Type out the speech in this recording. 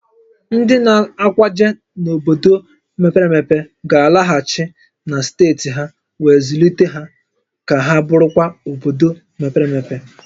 Ndị na-akwaje n'obodo mepere emepe ga-alaghachi na steeti ha wee zụlite ha ka ha bụrụkwa obodo mepere emepe